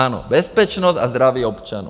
Ano, bezpečnost a zdraví občanů.